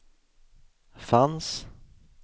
fanns